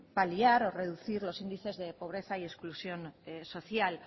paliar o reducir los índices de pobreza y exclusión social